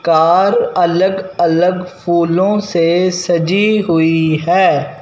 Car अलग-अलग फूलों से सजी हुई है।